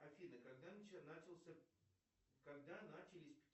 афина когда начался когда начались